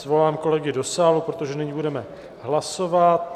Svolám kolegy do sálu, protože nyní budeme hlasovat.